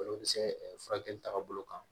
Olu bɛ se furakɛli tagabolo kan